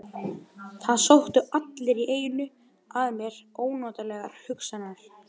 Það sóttu allt í einu að mér ónotalegar hugsanir.